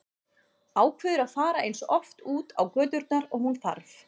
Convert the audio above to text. Ákveður að fara eins oft út á göturnar og hún þarf.